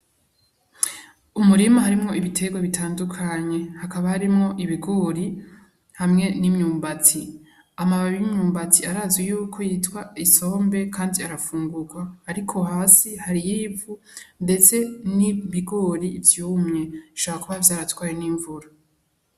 Umurima harimwo ibiterwa bitandukanye, hakaba harimwo ibigori hamwe n'imyumbati. Amababi y'imyumbati arazwi yuko yitwa isombe kandi arafungurwa, ariko hasi hariyo ivu, ndetse n'ibigori vyumye. Bishobora kuba vyaratwawe n'imvura.